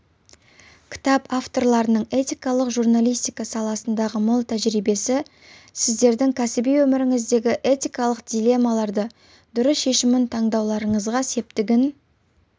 кітап авторларының этикалық журналистика саласындағы мол тәжірибесі сіздердің кәсіби өміріңіздегі этикалық дилеммаларды дұрыс шешім таңдауларыңызға мептігін